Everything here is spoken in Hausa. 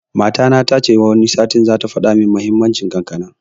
Matana tace Wani satin zata faɗa mun muhimmanci kankana